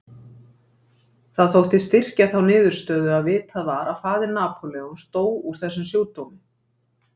Það þótti styrkja þá niðurstöðu að vitað var að faðir Napóleons dó úr þessum sjúkdómi.